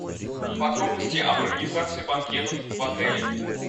подробности об организации банкетов в отеле